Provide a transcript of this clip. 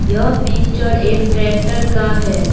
यह पिक्चर एक ट्रैक्टर का है।